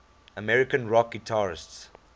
american rock guitarists